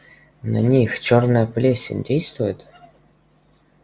на них чёрная плесень действует